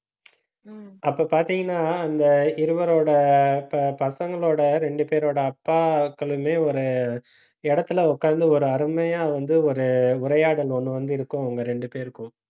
அப்ப பாத்தீங்கன்னா, அந்த இருவரோட ப~ பசங்களோட ரெண்டு பேரோட அப்பாக்களுமே ஒரு இடத்துல உக்காந்து ஒரு அருமையா வந்து ஒரு உரையாடல் ஒண்ணு வந்து இருக்கும், அவங்க ரெண்டு பேருக்கும்